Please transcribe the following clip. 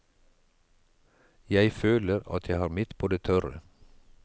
Jeg føler at jeg har mitt på det tørre.